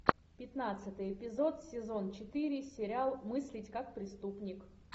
пятнадцатый эпизод сезон четыре сериал мыслить как преступник